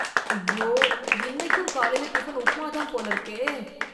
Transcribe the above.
ஐயோ! இன்னைக்கும் காலைல டிபன் உப்புமா தான் போல இருக்கே